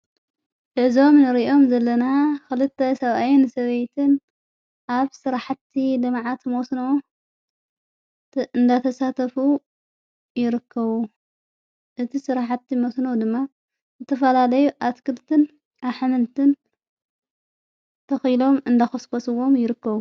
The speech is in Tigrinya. እዞም ንርእዮም ዘለና ኽልተ ሰብኣየን ሰበይትን ኣብ ሥርሕቲ ደምዓት መስን እንዳተሳተፉ ይርከዉ እቲ ሠራሕቲ መስኖ ድማ እቲፈላለይ ኣትክልትን ኣሕምንትን ተኺሎም እንደኸስኮስዎም ይርክዉ::